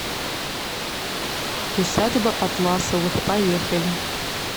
усадьба атласовых поехали